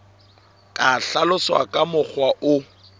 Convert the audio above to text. ka hlaloswa ka mokgwa o